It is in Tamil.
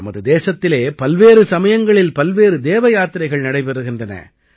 நமது தேசத்திலே பல்வேறு சமயங்களில் பல்வேறு தேவ யாத்திரைகள் நடைபெறுகின்றன